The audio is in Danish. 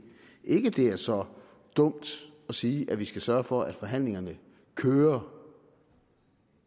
ikke det er så dumt at sige at vi skal sørge for at forhandlingerne kører